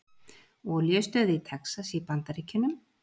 Olíustöð í Texas í Bandaríkjunum.